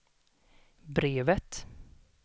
brevet